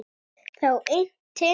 Þá innti